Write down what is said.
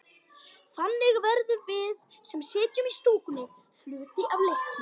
Þannig verðum við, sem sitjum í stúkunni, hluti af leiknum.